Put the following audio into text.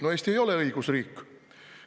No Eesti ei ole õigusriik!